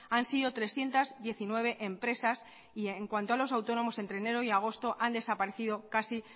han sido trescientos diecinueve empresas y en cuanto a los autónomos entre enero y agosto han desaparecido casi